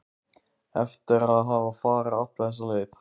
Eftir að hafa farið alla þessa leið?